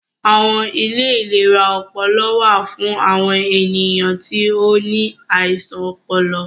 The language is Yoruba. Awọn ilé ìlera ọpọlọ wà fún awọn ènìyàn tí o ní àisàn ọpọlọ